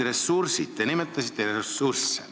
Te nimetasite ressursse.